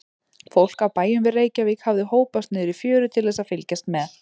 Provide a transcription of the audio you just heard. Fólk af bæjum við Reykjavík hafði hópast niður í fjöru til þess að fylgjast með.